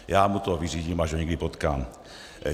Já mu to vyřídím, až ho někdy potkám.